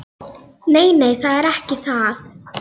Ég gat ekki afborið að sjá farið svona með hann.